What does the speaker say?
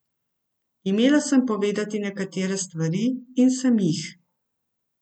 Imela sem povedati nekatere stvari in sem jih.